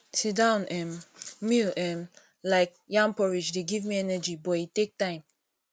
sitdown um meal um like yam porridge dey give me energy but e take time